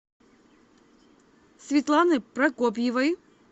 светланы прокопьевой